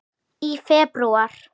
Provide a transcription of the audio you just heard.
Í febrúar